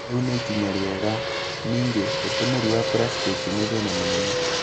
Rĩu nĩ ikinya rĩega. Ningĩ, ũtũmĩri wa pracitĩki nĩ thĩna mũnene.